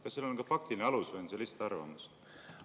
Kas seal on ka faktiline alus või on see lihtsalt arvamus?